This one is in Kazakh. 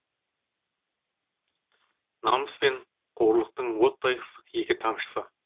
намыс пен қорлықтың оттай ыстық екі тамшысы